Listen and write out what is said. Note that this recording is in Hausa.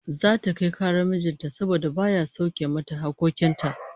Zata kai karar mijin ta saboda baya sauke mata hakkokin ta